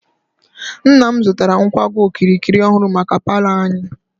Nna m zụtara nkwago okirikiri ọhụrụ maka paalọ anyị.